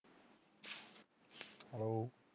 Hello